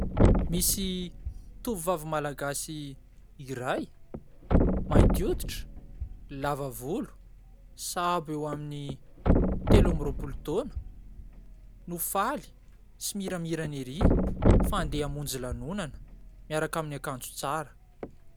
Misy tovovavy Malagasy iray, mainty hoditra, lava volo, sahabo eo amin'ny telo amby roapolo taona no faly sy miramirana ery fa andeha hamonjy lanonana miaraka amin'ny akanjo tsara.